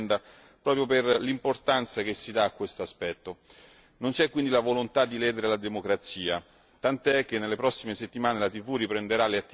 Non c'è quindi la volontà di ledere la democrazia, tant'è che nelle prossime settimane la TV riprenderà le attività in cui molti lavoratori verranno ovviamente ricompresi.